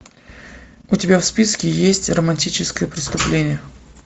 у тебя в списке есть романтическое преступление